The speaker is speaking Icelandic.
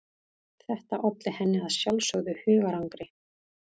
Þetta olli henni að sjálfsögðu hugarangri.